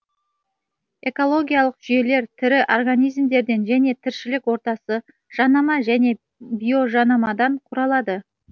экологиялық жүйелер тірі организмдерден және тіршілік ортасы жанама және биожанамадан құралады